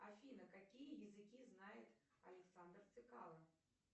афина какие языки знает александр цекало